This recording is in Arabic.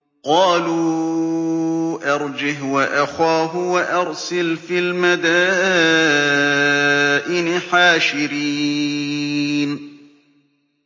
قَالُوا أَرْجِهْ وَأَخَاهُ وَأَرْسِلْ فِي الْمَدَائِنِ حَاشِرِينَ